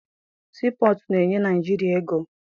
Sii pọtụ na-enye Naịjirịa ego.